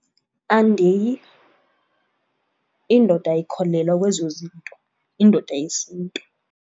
Andiyi. Indoda ayikholelwa kwezo zinto, indoda yesiNtu.